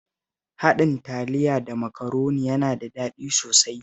Haɗin Taliya da Makaroni yana da daɗi sosai